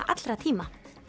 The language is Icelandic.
allra tíma